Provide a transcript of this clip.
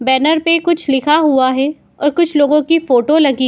banner पे कुछ लिखा हुआ है और कुछ लोगों की फोटो लगी --